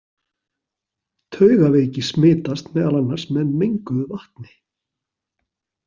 Taugaveiki smitast meðal annars með menguðu vatni.